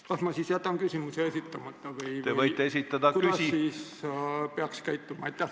Kas tuleb jätta siis küsimus esitamata või kuidas peaks käituma?